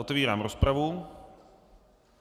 Otevírám rozpravu.